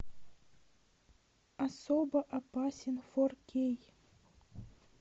особо опасен фор кей